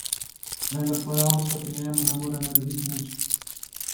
Vendar pa javno proti njemu ne more narediti nič.